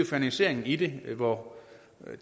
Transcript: finansieringen i det hvor